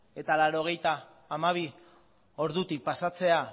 eta laurogeita hamabi ordutik pasatzea